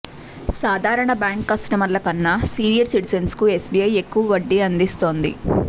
సాధారణ బ్యాంక్ కస్టమర్ల కన్నా సీనియర్ సిటిజన్స్కు ఎస్ బీఐ ఎక్కువ వడ్డీ అందిస్తోంది